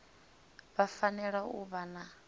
vha fanela u vha na